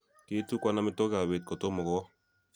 kiitukwan amitwogikab beet kotomo kowo